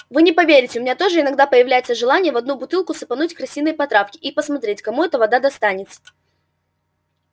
вы не поверите у меня тоже иногда появляется желание в одну бутылку сыпануть крысиной потравки и посмотреть кому эта вода достанется